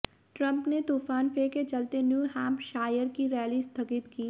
Trump ने तूफान Fay के चलते न्यू हैम्पशायर की रैली स्थगित की